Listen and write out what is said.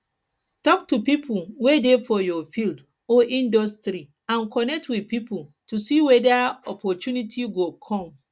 talk to pipo wey dey for your field or industry and connect with pipo to see weda opportunity go come